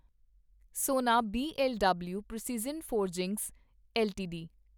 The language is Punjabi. ਸੋਨਾ B L W precision forgings LTD